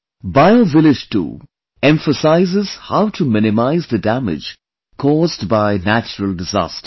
BioVillage 2 emphasizes how to minimize the damage caused by natural disasters